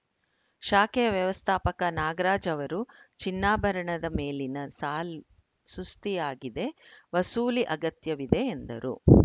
ಶಾಖೆಯ ವ್ಯವಸ್ಥಾಪಕ ನಾಗರಾಜ್‌ ಅವರು ಚಿನ್ನಾಭರಣದ ಮೇಲಿನ ಸಾಲ್ ಸುಸ್ತಿಯಾಗಿದೆ ವಸೂಲಿ ಅಗತ್ಯವಿದೆ ಎಂದರು